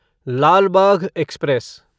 Lal Bagh express